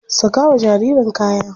Saka wa jaririn kaya.